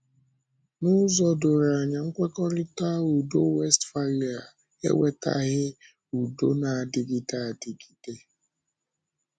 N’ụzọ doro anya, Nkwekọrịtà Ùdò Wéstphália ewetàghị ùdò na-adịgide adịgide.